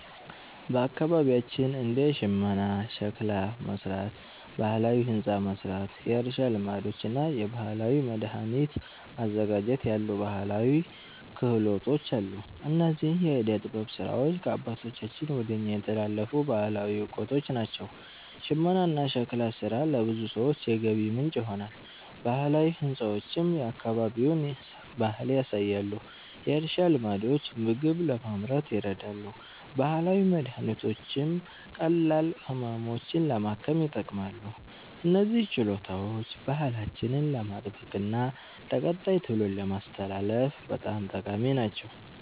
በአካባቢያችን እንደ ሽመና፣ ሸክላ መሥራት፣ ባህላዊ ሕንፃ መሥራት፣ የእርሻ ልማዶች እና የባህላዊ መድኃኒት ማዘጋጀት ያሉ ባህላዊ ክህሎቶች አሉ። እነዚህ የዕደ ጥበብ ሥራዎች ከአባቶቻችን ወደ እኛ የተላለፉ ባህላዊ እውቀቶች ናቸው። ሽመናና ሸክላ ሥራ ለብዙ ሰዎች የገቢ ምንጭ ይሆናሉ፣ ባህላዊ ሕንፃዎችም የአካባቢውን ባህል ያሳያሉ። የእርሻ ልማዶች ምግብ ለማምረት ይረዳሉ፣ ባህላዊ መድኃኒቶችም ቀላል ህመሞችን ለማከም ይጠቅማሉ። እነዚህ ችሎታዎች ባህላችንን ለማስጠበቅና ለቀጣይ ትውልድ ለማስተላለፍ በጣም ጠቃሚ ናቸው።